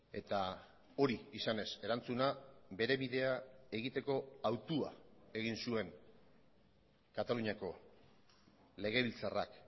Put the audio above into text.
eta hori izanez erantzuna bere bidea egiteko hautua egin zuen kataluniako legebiltzarrak